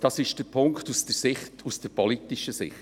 Das ist der Punkt aus der politischen Sicht.